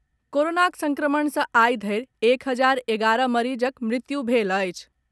कोरोनाक संक्रमण सँ आइ धरि एक हजार एगारह मरीजक मृत्यु भेल अछि।